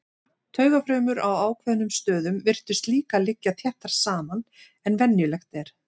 Taugafrumur á ákveðnum stöðum virtust líka liggja þéttar saman en venjulegt er.